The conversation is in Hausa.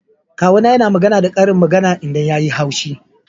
Kawu na yana magana da karin magana idan ya yi haushi.